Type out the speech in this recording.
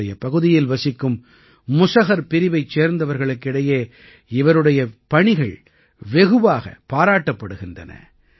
தன்னுடைய பகுதியில் வசிக்கும் முஸஹர் பிரிவைச் சேர்ந்தவர்களுக்கு இடையே இவருடைய பணிகள் வெகுவாகப் பாராட்டப்படுகின்றன